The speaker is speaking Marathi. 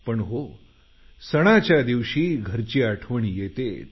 पण हो सणाच्या दिवशी घरची आठवण येतेच